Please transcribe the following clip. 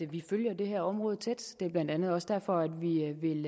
vi følger det her område tæt det er blandt andet også derfor vi vil